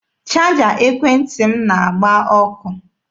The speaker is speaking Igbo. Chaja ekwentị m na-agba ọkụ.